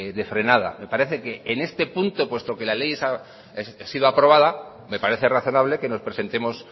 de frenada me parece que en este punto puesto que la ley ha sido aprobada me parece razonable que nos presentemos